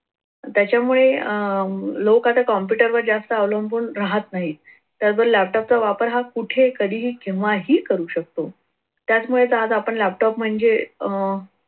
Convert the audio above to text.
त्याच्यामुळे अह लोक आता जास्त computer वर जास्त अवलंबून राहत नाहीत. त्याचबरोबर laptop चा वापर हा कुठेही कधीही केव्हाही करू शकतो. त्याच्यामुळे तर आज आपण laptop म्हणजे अह